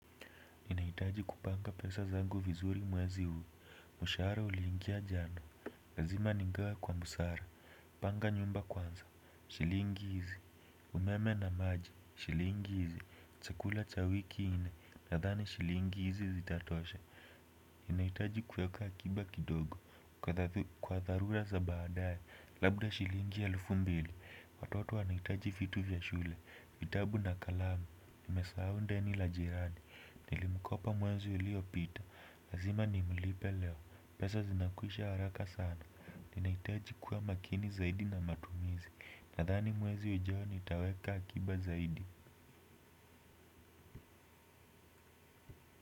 Ninahitaji kupanga pesa zangu vizuri mwezi huu mshahara uliingia jana. Lazima nigawe kwa busara. Panga nyumba kwanza. Shilingi hizi. Umeme na maji. Shilingi hizi. Chakula cha wiki nne. Nadhani shilingi hizi zitatosha. Ninahitaji kuweka akiba kidogo kwa dharura za baadaye. Labda shilingi elfu mbili watoto wanahitaji vitu vya shule. Vitabu na kalamu. Nimesahau deni la jirani. Nilimkopa mwezi uliopita, lazima nimlipe leo, pesa zinakwisha haraka sana. Ninahitaji kuwa makini zaidi na matumizi, nadhani mwezi ujao nitaweka akiba zaidi.